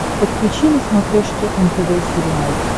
подключи на смотрешке нтв сериал